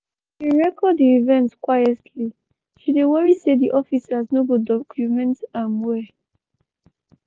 she bin record di event quietly she dey worry say di officers no go docomeent am well.